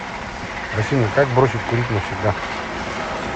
афина как бросить курить навсегда